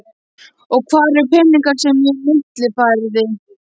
Og hvar eru peningarnir sem ég millifærði?